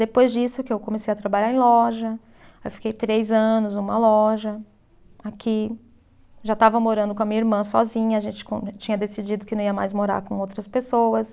Depois disso que eu comecei a trabalhar em loja, aí fiquei três anos numa loja aqui, já estava morando com a minha irmã sozinha, a gente com, tinha decidido que não ia mais morar com outras pessoas.